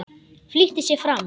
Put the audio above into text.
Flýtti sér fram.